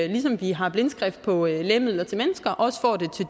ligesom vi har blindskrift på lægemidler til mennesker også får det